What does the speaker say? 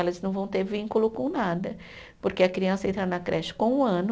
Elas não vão ter vínculo com nada, porque a criança entra na creche com um ano,